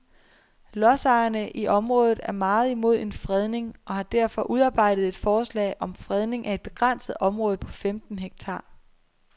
Lodsejerne i området er meget imod en fredning og har derfor udarbejdet et forslag om fredning af et begrænset område på femten hektar.